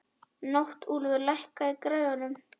Náttúlfur, lækkaðu í græjunum.